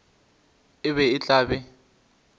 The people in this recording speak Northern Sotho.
e be e tla be